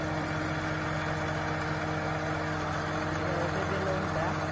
ಹಾ, ಹಾ. ಈಗ ಔಷಧಿಯೆಲ್ಲಾ ಉಂಟಾ?